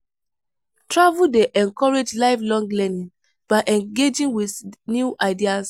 Travel dey encourage lifelong learning by engaging with new ideas.